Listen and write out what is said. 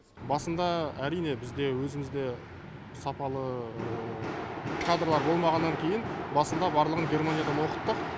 басында әрине бізде өзімізде сапалы кадрлар болмағаннан кейін басында барлығын германиядан оқыттық